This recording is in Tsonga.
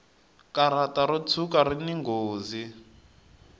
karata ro tshuka rini nghozi